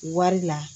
Wari la